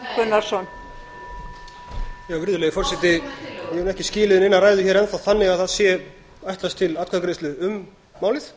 virðulegi forseti ég hef ekki skilið neina ræðu hér enn þá þannig að það sé ætlast til atkvæðagreiðslu um málið